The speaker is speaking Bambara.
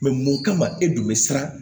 mun kama e tun bɛ siran